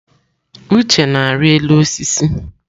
Uche na-arị elu osisi.